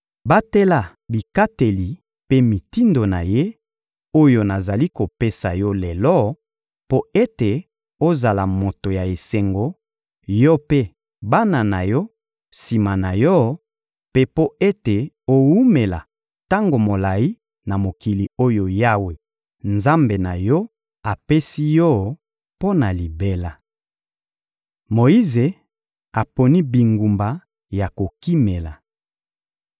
Batela bikateli mpe mitindo na Ye, oyo nazali kopesa yo lelo mpo ete ozala moto ya esengo, yo mpe bana na yo sima na yo, mpe mpo ete owumela tango molayi na mokili oyo Yawe, Nzambe, na yo apesi yo mpo na libela. Moyize aponi bingumba ya kokimela